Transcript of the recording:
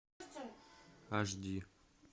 аш ди